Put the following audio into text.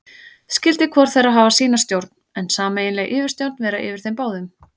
Skyldi hvor þeirra hafa sína stjórn, en sameiginleg yfirstjórn vera yfir þeim báðum.